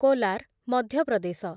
Kolar, Madhya Pradesh